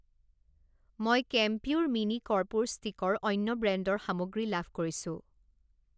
মই কেম্পিউৰ মিনি কৰ্পূৰ ষ্টিক ৰ অন্য ব্ৰেণ্ডৰ সামগ্ৰী লাভ কৰিছোঁ।